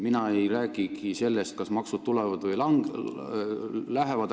Ma ei räägigi sellest, kas maksud tulevad või lähevad.